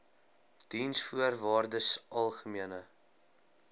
diensvoorwaardesalgemene